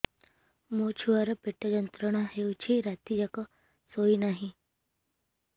ମୋ ଛୁଆର ପେଟ ଯନ୍ତ୍ରଣା ହେଉଛି ରାତି ଯାକ ଶୋଇନାହିଁ